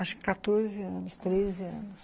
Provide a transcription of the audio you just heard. Acho que quatorze anos, treze anos.